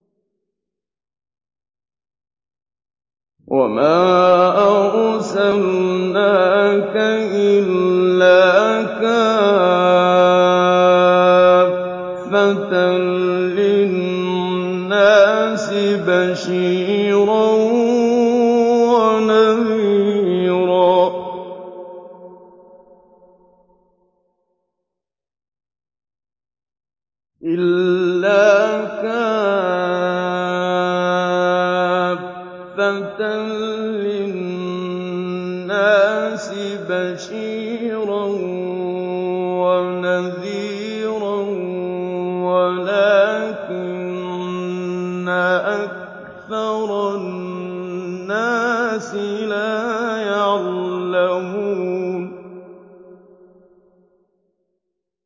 وَمَا أَرْسَلْنَاكَ إِلَّا كَافَّةً لِّلنَّاسِ بَشِيرًا وَنَذِيرًا وَلَٰكِنَّ أَكْثَرَ النَّاسِ لَا يَعْلَمُونَ